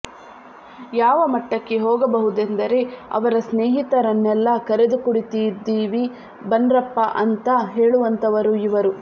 ಯಾವ ಮಟ್ಟಕ್ಕೆ ಹೋಗಬಹುದೆಂದರೆ ಅವರ ಸ್ನೇಹಿತರನ್ನೆಲ್ಲ ಕರೆದು ಕುಡಿತಿದೀವಿ ಬನ್ರಪ್ಪಾ ಅಂತ ಹೇಳುವಂತವರು ಇವರು